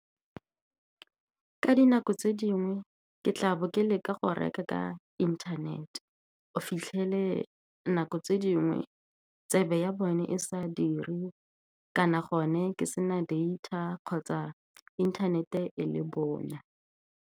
Ka dinako tse dingwe, ke tla bo ke leka go reka ka inthanete. O fitlhele nako tse dingwe tsebe ya bone e sa dire, kana gone ke sena data kgotsa inthanete le bonya.